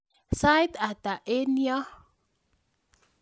Sait ata eng nyo?